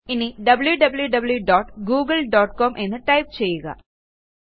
ഇനി wwwgooglecom എന്ന് type ചെയ്യുക